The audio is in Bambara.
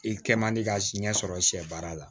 I kɛ man di ka siɲɛ sɔrɔ sɛ baara la